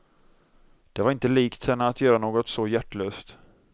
Det var inte likt henne att göra något så hjärtlöst.